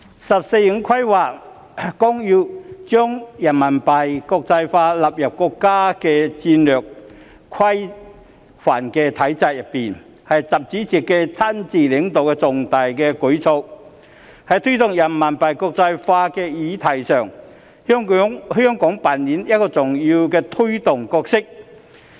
《十四五規劃綱要》將人民幣國際化納入國家戰略規範的體制內，是習主席親自領導的重大舉措，在推動人民幣國際化的議題上，香港扮演一個重要的推動角色。